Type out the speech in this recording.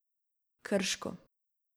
Krško.